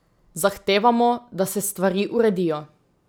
Zahtevamo, da se stvari uredijo.